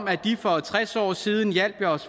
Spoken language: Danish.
at de for halvfjerds år siden hjalp os